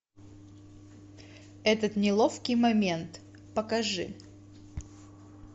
этот неловкий момент покажи